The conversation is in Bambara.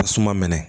Tasuma mɛnɛ